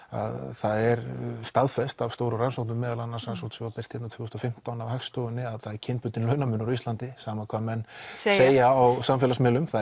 það er staðfest af stórum rannsóknum meðal annars rannsokn sem var birt hérna tvö þúsund og fimmtán af Hagstofunni að það er kynbundinn launamunur á Íslandi sama hvað menn segja á samfélagsmiðlum það